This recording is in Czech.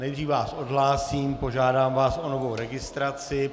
Nejdřív vás odhlásím, požádám vás o novou registraci.